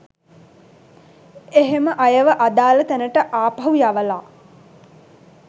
එහෙම අයව අදාළ තැනට ආපහු යවලා